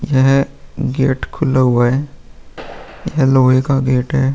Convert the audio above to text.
यह गेट खुला हुआ है। ये लोहे का गेट है।